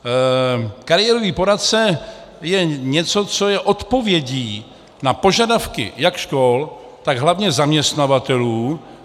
Kariérový poradce je něco, co je odpovědí na požadavky jak škol, tak hlavně zaměstnavatelů.